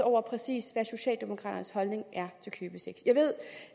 over præcis hvad socialdemokraternes holdning er til købesex jeg ved